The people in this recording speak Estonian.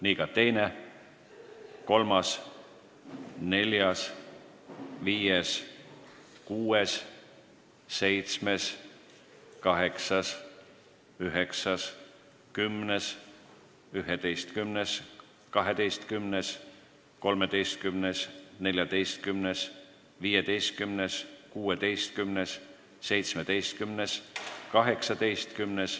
Nii ka 2., 3., 4., 5., 6., 7., 8., 9., 10., 11., 12., 13., 14., 15., 16., 17., 18.